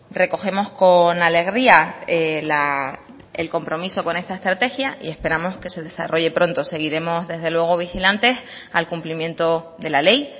recogemos con alegría el compromiso con esta estrategia y esperamos que se desarrolle pronto seguiremos desde luego vigilantes al cumplimiento de la ley